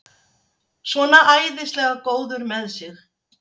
Svona æðislega góður með sig!